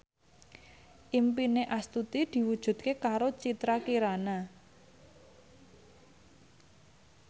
impine Astuti diwujudke karo Citra Kirana